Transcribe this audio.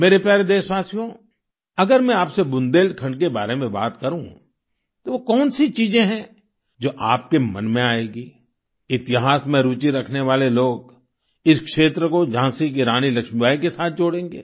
मेरे प्यारे देशवासियो अगर मैं आपसे बुदेलखंड के बारे में बात करूँ तो वो कौन सी चीजें हैं जो आपके मन में आएंगी इतिहास में रूचि रखने वाले लोग इस क्षेत्र को झांसी की रानी लक्ष्मीबाई के साथ जोड़ेंगे